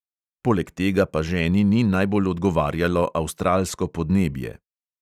Poleg tega pa ženi ni najbolj odgovarjalo avstralsko podnebje.